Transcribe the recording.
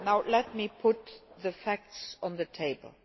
Let me now put the facts on the table.